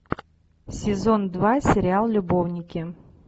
сезон два сериал любовники